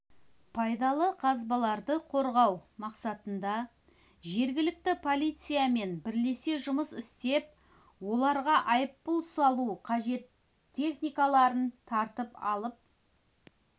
пайдалы қазбаларды қорғау мақсатында жергілікті полициямен бірлесе жұмыс істеп оларға айыппұл салу қажет техникаларын тартып алып